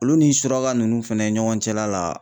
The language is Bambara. Olu ni suraka nunnu fɛnɛ ɲɔgɔn cɛla la